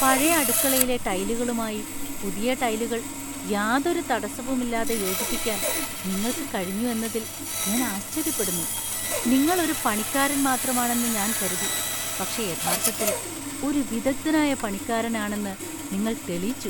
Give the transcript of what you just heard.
പഴയ അടുക്കളയിലെ ടൈലുകളുമായി പുതിയ ടൈലുകൾ യാതൊരു തടസ്സവുമില്ലാതെ യോജിപ്പിക്കാൻ നിങ്ങൾക്ക് കഴിഞ്ഞു എന്നതിൽ ഞാൻ ആശ്ചര്യപ്പെടുന്നു. നിങ്ങൾ ഒരു പണിക്കാരൻ മാത്രമാണെന്ന് ഞാൻ കരുതി, പക്ഷേ യഥാർത്ഥത്തിൽ ഒരു വിദഗ്ധനായ പണിക്കാരനാണെന്ന് നിങ്ങൾ തെളിയിച്ചു.